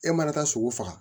E mana taa sogo faga